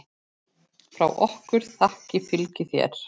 Frá okkur þakkir fylgi þér.